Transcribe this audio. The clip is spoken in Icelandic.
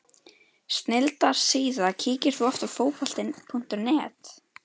Snilldar síða Kíkir þú oft á Fótbolti.net?